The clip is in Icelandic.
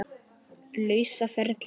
lausa ferli.